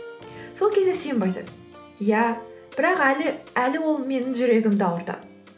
сол кезде симба айтады иә бірақ әлі ол менің жүрегімді ауыртады